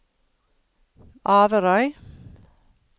Averøy